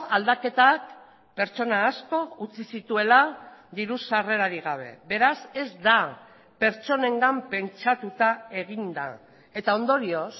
aldaketak pertsona asko utzi zituela diru sarrerarik gabe beraz ez da pertsonengan pentsatuta egin da eta ondorioz